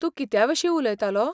तूं कित्याविशीं उलयतलो?